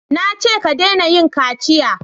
Na ce ka dena yin kaciya!